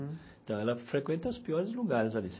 Então, ela frequenta os piores lugares ali.